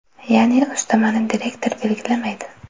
Ya’ni, ustamani direktor belgilamaydi.